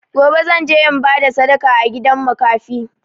Gobe, zan je in ba da sadaka a gidan makafi.